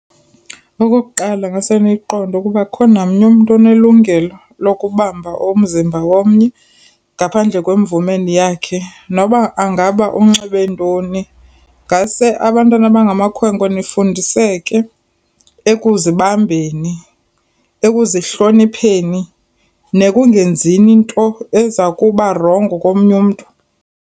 Okokuqala ngase niyiqonde ukuba ukukho namnye umntu onelungelo lokubamba umzimba womnye ngaphandle kwemvume yakhe noba angaba unxibe ntoni. Ngase abantwana abangamakhwenkwe nifundiseke ekuzibambeni, ekuzihlonipheni nekungenzini into ezakuba rongo komnye umntu.